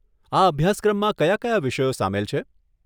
આ અભ્યાસક્રમમાં કયા કયા વિષયો સામેલ છે?